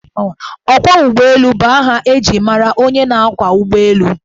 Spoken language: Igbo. Ọkwọụgbọelu bụ aha eji mara onye na-ákwọ̀ ụgbọelu